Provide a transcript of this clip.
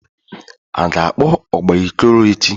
A ga-akpọ ụgba Ikoro echi?